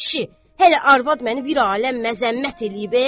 Ay kişi, hələ arvad məni bir aləm məzəmmət eləyib.